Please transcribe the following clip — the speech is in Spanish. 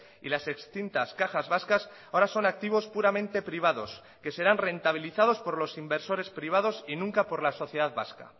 y las extintas cajas vascas ahora son activos puramente privados que serán rentabilizados por los inversores privados y nunca por la sociedad vasca